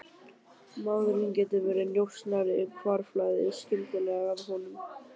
Maðurinn getur verið njósnari, hvarflaði skyndilega að honum.